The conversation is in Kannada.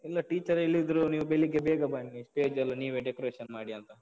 ಇಲ್ಲ, teacher ಹೇಳಿದ್ರು ನೀವು ಬೆಳಿಗ್ಗೆ ಬೇಗ ಬನ್ನಿ, stage ಎಲ್ಲ ನೀವೇ decoration ಮಾಡಿ ಅಂತ.